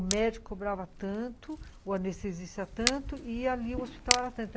O médico cobrava tanto, o anestesista tanto, e ali o hospital era tanto.